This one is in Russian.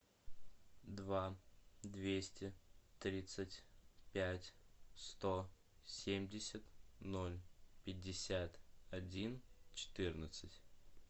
два двести тридцать пять сто семьдесят ноль пятьдесят один четырнадцать